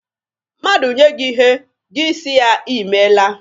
Mmadụ nye gị ihe, gị si ya, Ị meela.